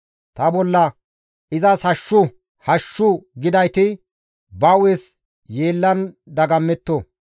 Ta bolla, «Izas hashshu! Hashshu!» gidayti, ba hu7es yeellan dagammetto.